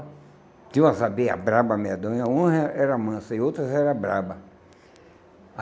Tinha umas abelhas bravas, medonha, umas eh eram mansas e outras eram bravas.